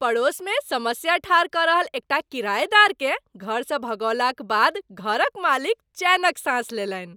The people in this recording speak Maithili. पड़ोसमे समस्या ठाढ़ कऽ रहल एकटा किरायेदारकेँ घरसँ भगओलाक बाद घरक मालिक चैनक साँस लेलनि।